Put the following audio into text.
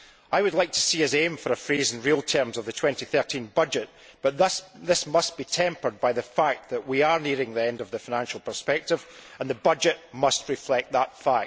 I would like to see us aim for a freeze in real terms of the 2013 budget but this must be tempered by the fact that we are nearing the end of the financial perspective and the budget must reflect that fact.